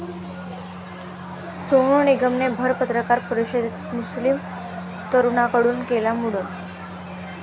सोनू निगमने भर पत्रकार परिषदेत मुस्लीम तरुणाकडून केलं मुंडन